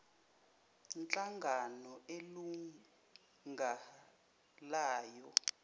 nhlangano eyilunga layo